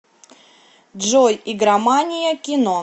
джой игромания кино